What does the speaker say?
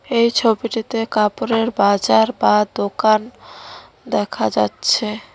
এই ছবিটিতে কাপড়ের বাজার বা দোকান দেখা যাচ্ছে।